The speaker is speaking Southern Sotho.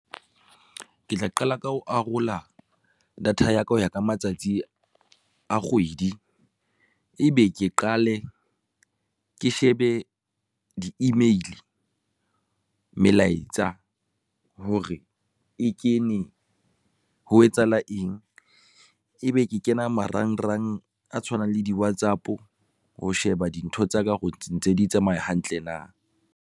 Ke tla qala ka ho arola data ya ka ho ya ka matsatsi a kgwedi, ebe ke qale ke shebe di-email, melaetsa hore e kene ho etsahala eng ebe ke kena marangrang a tshwanang le di-WhatsApp ho sheba dintho tsaka hore ntse di tsamaya hantle na.